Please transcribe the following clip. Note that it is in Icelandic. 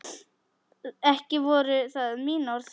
Ekki voru það mín orð!